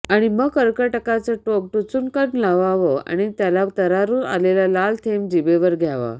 आणि मग कर्कटकाचं टोक टुचूकक्न् लावावं त्याला आणि तरारून आलेला लाल थेंब जिभेवर घ्यावा